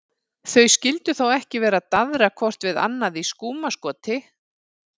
Þau skyldu þó ekki vera að daðra hvort við annað í skúmaskoti?